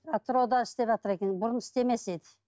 атырауда істеватыр екен бұрын істемес еді